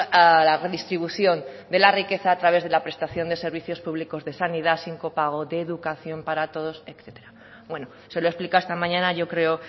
a la redistribución de la riqueza a través de la prestación de servicios públicos de sanidad sin copago de educación para todos etcétera bueno se lo he explicado esta mañana yo creo